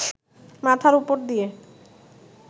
মাথার ওপর দিয়ে